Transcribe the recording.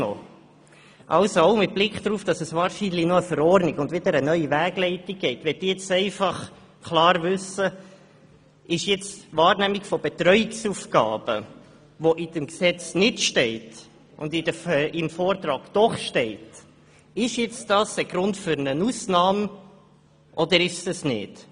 Auch mit Blick darauf, dass es eine neue Verordnung und eine neue Wegleitung geben wird, möchte ich klar wissen, ob die Wahrnehmung von Betreuungsaufgaben, welche nicht im Gesetz, jedoch im Vortrag enthalten ist, Grund für eine Ausnahme ist oder nicht.